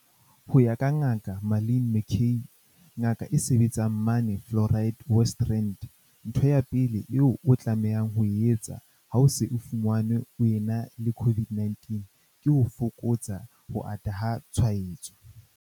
Ho ya ka Ngaka Marlin McCay, ngaka e sebetsang mane Florida, West Rand, ntho ya pele eo o tlamehang ho e etsa ha o se o fumanwe o ena le COVID-19 ke ho fokotsa ho ata ha tshwaetso.